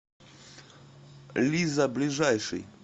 лиза ближайший